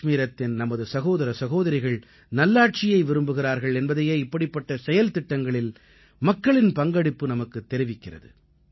காஷ்மீரத்தின் நமது சகோதர சகோதரிகள் நல்லாட்சியை விரும்புகிறார்கள் என்பதையே இப்படிப்பட்ட செயல்திட்டங்களில் மக்களின் பங்கெடுப்பு நமக்குத் தெரிவிக்கிறது